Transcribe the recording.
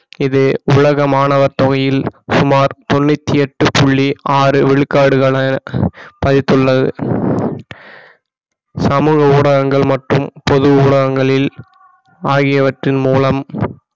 இது உலக மாணவர் தொகையில் சுமார் தொண்ணூற்றி எட்டு புள்ளி ஆறு விழுக்காடுகள் என பதித்துள்ளது சமூக ஊடகங்கள் மற்றும் பொது ஊடகங்களில் ஆகியவற்றின் மூலம்